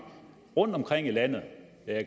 rundtomkring i landet